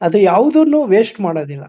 ಅದು ಯಾವುದನ್ನು ವೇಸ್ಟ್ ಮಾಡೋದಿಲ್ಲ.